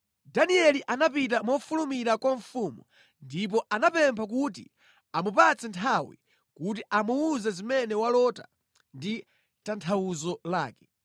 Danieli anapita mofulumira kwa mfumu ndipo anamupempha kuti amupatse nthawi kuti amuwuze zimene walota ndi tanthauzo lake.